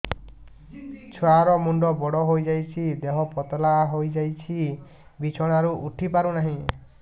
ଛୁଆ ର ମୁଣ୍ଡ ବଡ ହୋଇଯାଉଛି ଦେହ ପତଳା ହୋଇଯାଉଛି ବିଛଣାରୁ ଉଠି ପାରୁନାହିଁ